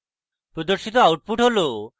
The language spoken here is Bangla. প্রদর্শিত output হল: